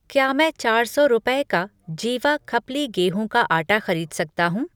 क्या मैं चार सौ रुपये का जीवा खप्ली गेहूं का आटा खरीद सकता हूँ ?